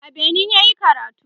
a Benin yayi karatu